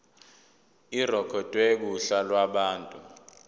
irekhodwe kuhla lwabantu